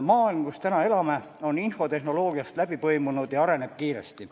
Maailm, kus täna elame, on infotehnoloogiast läbi põimunud ja areneb kiiresti.